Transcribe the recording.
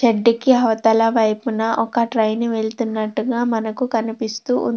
గడ్డికి అవతల వైపున ఒక ట్రైన్ వెళుతున్నట్టుగా మనకు కనిపిస్తూ ఉన్నది.